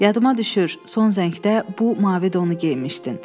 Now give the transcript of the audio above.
Yadıma düşür son zəngdə bu mavi donu geyinmişdin.